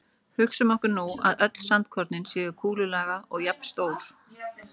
Hugsum okkur nú að öll sandkornin séu kúlulaga og jafnstór.